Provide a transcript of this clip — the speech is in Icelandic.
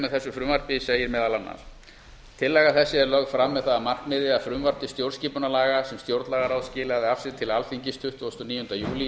með þessu frumvarpi segir meðal annars tillaga þessi er lögð fram með það að markmiði að frumvarp til stjórnarskipunarlaga sem stjórnlagaráð skilaði af sér til alþingis tuttugasta og níunda júlí